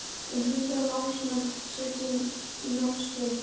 Um hundrað námsmenn sitja í námskeiðinu